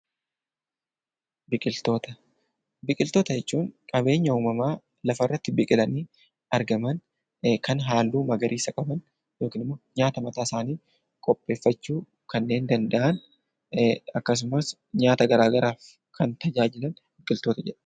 Biqiltoota. Biqiltoota jechuun qabeenya uumamaa lafarratti biqilanii argaman kan halluu magariisa qaban yookin immoo nyaata mataasaanii qopheeffachuu kanneen danda'an akkasumas nyaata garaa garaaf kan tajaajilan biqiltoota jedhamu.